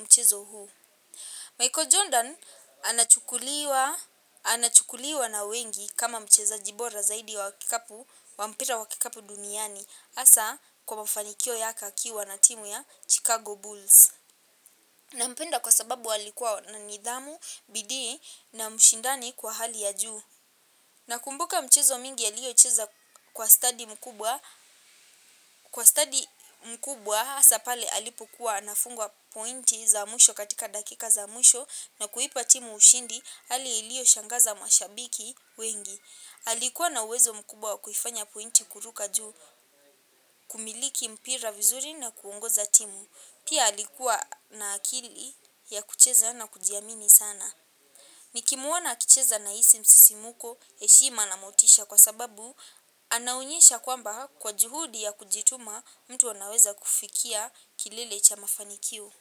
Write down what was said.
mchezo huu. Michael Jordan anachukuliwa na wengi kama mchezaji bora zaidi wa kikapu, wa mpira wa kikapu duniani hasa kwa mafanikio yake akiwa na timu ya Chicago Bulls. Nampenda kwa sababu alikuwa na nidhamu, bidii na mshindani kwa hali ya juu. Nakumbuka mchezo mingi aliyocheza kwa stadi mkubwa. Kwa stadi mkubwa hasa pale alipukuwa anafungwa pointi za mwisho katika dakika za mwisho na kuipa timu ushindi hali iliyoshangaza mashabiki wengi. Alikuwa na uwezo mkubwa wa kuifanya pointi kuruka juu kumiliki mpira vizuri na kuongoza timu. Pia alikuwa na akili ya kucheza na kujiamini sana. Nikimuona akicheza nahisi msisimuko, heshima na motisha kwa sababu, anaonyesha kwamba kwa juhudi ya kujituma mtu anaweza kufikia kilile cha mafanikio.